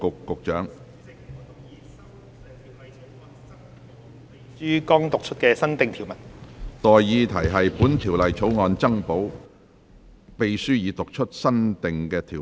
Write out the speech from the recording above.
我現在向各位提出的待議議題是：本條例草案增補秘書已讀出的新訂條文。